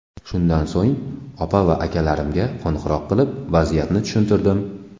Shundan so‘ng opa va akalarimga qo‘ng‘iroq qilib, vaziyatni tushuntirdim.